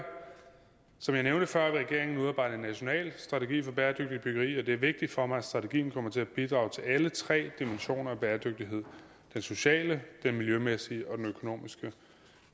som jeg nævnte før vil regeringen udarbejde en national strategi for bæredygtigt byggeri og det er vigtigt for mig at strategien kommer til at bidrage til alle tre dimensioner af bæredygtighed den sociale den miljømæssige og økonomiske